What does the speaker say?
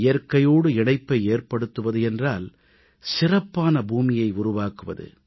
இயற்கையோடு இணைப்பை ஏற்படுத்துவது என்றால் சிறப்பான பூமியை உருவாக்குவது